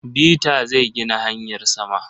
Beta zai gina hanyar sama.